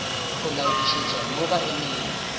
go laodišetša mo ba emego